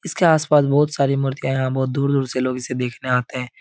इसके आस पास बहोत सारी मूर्तियाँ हैं। यहाँ बहोत दूर दूर से लोग इसे देखने आते हैं।